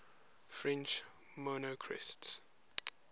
french monarchists